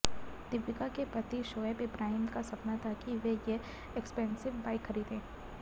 दीपिका के पति शोएब इब्राहिम का सपना था कि वो ये एक्सपेनसिव बाइक खरीदें